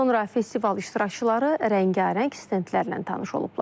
Sonra festival iştirakçıları rəngarəng stendlərlə tanış olublar.